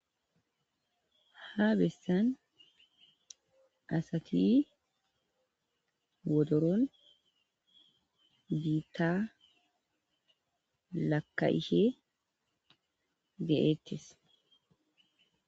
Ha bessan asati wodoron biitta lakka'ihe ge'eettis.